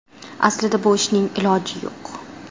Aslida bu ishning iloji yo‘q.